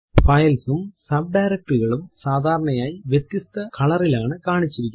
Files ഉം subdirectory കളും സാധാരണയായി വ്യത്യസ്ത കളറിലാണ് കാണിച്ചിരിക്കുന്നത്